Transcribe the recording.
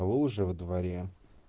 лужи во дворе